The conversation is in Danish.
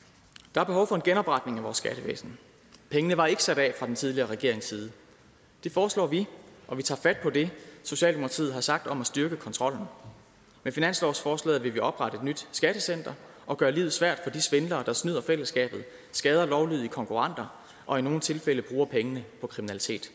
der er behov for en genopretning af vores skattevæsen pengene var ikke sat af fra den tidligere regerings side det foreslår vi og vi tager fat på det socialdemokratiet har sagt om at styrke kontrollen med finanslovsforslaget vil vi oprette et nyt skattecenter og gøre livet svært for de svindlere der snyder fællesskabet skader lovlydige konkurrenter og i nogle tilfælde bruger pengene på kriminalitet